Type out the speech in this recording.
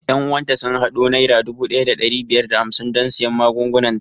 Ƴan uwan ta sun haɗo naira dubu ɗaya da ɗari biyar da hamsin don siyan magungunan ta